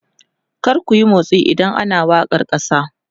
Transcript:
kar kuyi motsi idan ana wakar kasa!